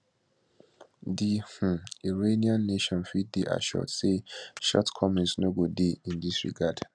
di um iranian nation fit dey assured say shortcomings no go dey in dis regard